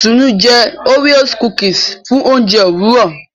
Itunu jé Oreo cookies fún oúnjẹ Òwúrọ